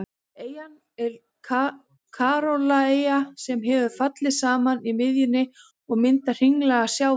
Eyjan er kórallaeyja sem hefur fallið saman í miðjunni og myndað hringlaga sjávarlón.